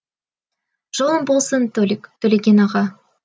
жолың болсын толик төлеген аға